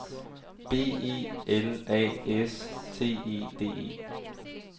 B E L A S T E D E